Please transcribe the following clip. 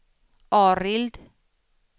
Arild